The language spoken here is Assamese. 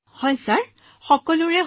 হায় ছাৰ সকলোৰে শেষ হৈছে